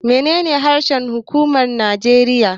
Menene harshen huƙuma na Najeriya.